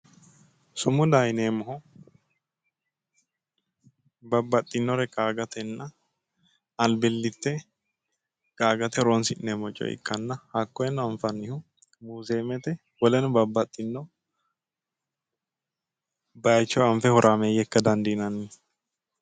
Sumudaho yineemmohu babbaxxinnore qaagatenna albillitte qaagate horoonsi'neemmo coye ikkanna hakkoyeno anfannihu muuzeemete woleno babbaxxinno bayicho anfe horaameeyye ikka dandiinanni.